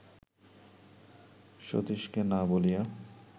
সতীশকে না বলিয়া